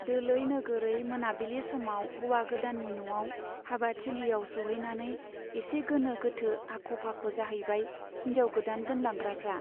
दोलै नोगोरै मोनाबिलि समाव हौवा गोदाननि न'आव हाबा थिलियाव सौहैनानै एसे गोनो-गोथो, आख'-फाख' जाहैबाय हिन्जाव गोदान दोनलांग्राफ्रा।